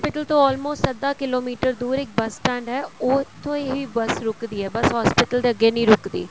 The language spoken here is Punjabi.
ਤੋਂ almost ਅੱਧਾ ਕਿਲੋਮੀਟਰ ਦੂਰ ਇੱਕ bus stand ਏ ਉਹ ਉੱਥੇ ਹੀ bus ਰੁਕਦੀ ਹੈ bus hospital ਦੇ ਅੱਗੇ ਨਹੀਂ ਰੁਕਦੀ